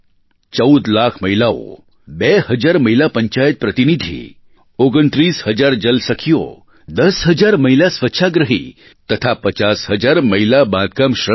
14 લાખ મહિલાઓ 2 હજાર મહિલા પંચાયત પ્રતિનિધિ 29 હજાર જલ સખીઓ 10 હજાર મહિલા સ્વચ્છાગ્રહી તથા 50 હજાર મહિલા બાંધકામ શ્રમિક